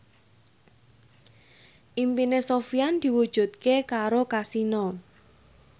impine Sofyan diwujudke karo Kasino